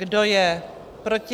Kdo je proti?